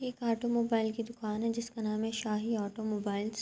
ایک آٹوموبائل کی دکان ہے۔ جسکا نام ہے شاہی آٹوموبائلس --